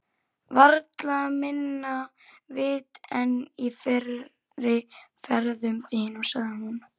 Varla minna vit en í fyrri ferðum þínum, sagði hún.